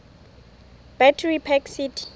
battery park city